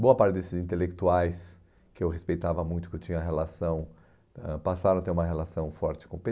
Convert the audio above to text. Boa parte desses intelectuais que eu respeitava muito, que eu tinha relação, ãh passaram a ter uma relação forte com o pê